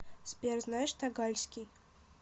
сбер знаешь тагальский